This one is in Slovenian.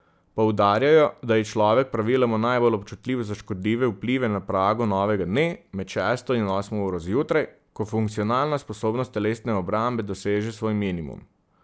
Poudarjajo, da je človek praviloma najbolj občutljiv za škodljive vplive na pragu novega dne, med šesto in osmo uro zjutraj, ko funkcionalna sposobnost telesne obrambe doseže svoj minimum.